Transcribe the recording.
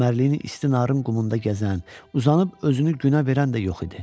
Çimərliyinin isti narın qumunda gəzən, uzanıb özünü günə verən də yox idi.